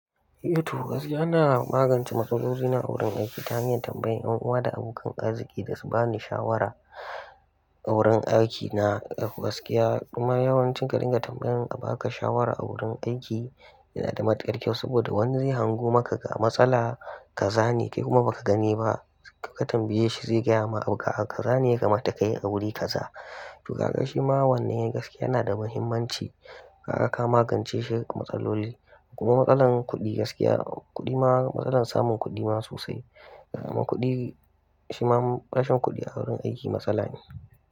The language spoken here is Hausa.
Eh to gaskiya ina magance matsalolina na a wurin aiki ta hanyar tambayan 'yan uwa da abokan arziki da su bani shawara. A wurin aiki na gaskiya kuma yawancin ka dinga tambayan a baka shawara a wurin aiki yana da matukar kyau saboda wani zai hango maka ga matsala kaza ne kai kuma baka gani ba, ka tambaye shi zai gyama abu kazane yakamata kayi a wuri kaza. To kaga shi ma wannan gaskiya yana da muhimmanci. Kaga ka magance shi matsaloli kuma matsalan kuɗi gaskiya kuɗi ma matsalar samun kuɗi ma sosai. Kuɗi shi ma rashin kuɗi a wurin aiki matsala ne.